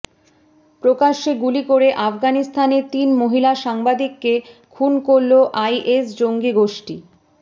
প্রকাশ্যে গুলি করে আফগানিস্তানে তিন মহিলা সাংবাদিককে খুন করল আইএস জঙ্গিগোষ্ঠী